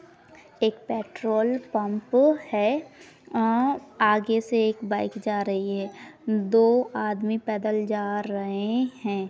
एक petrol pump है अ आगे से एक बईक जा रही है दो आदमी पेदल जा रहे है।